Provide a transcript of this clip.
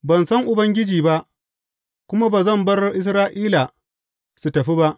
Ban san Ubangiji ba, kuma ba zan bar Isra’ila su tafi ba.